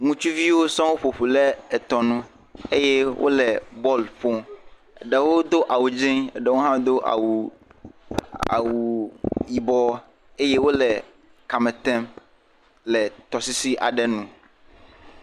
Ŋutsuviwo sɔ ƒoƒu ɖe etɔ nu eye wo le bɔl ƒom. Ɖewo do awu dzi eye eɖewo hã do awu awu yibɔ eye wo le kame tem le tɔsisi aɖe nu.